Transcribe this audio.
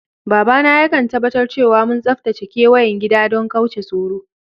Baba na ya kan tabatar cewa mun tsatace keweyen gida dan kauce tsoro.